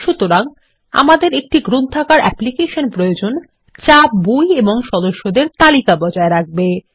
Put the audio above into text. সুতরাং আমাদের একটি লাইব্রেরী অ্যাপ্লিকেশন প্রয়োজন যা বই এবং সদস্যদের তালিকা বজায় রাখবে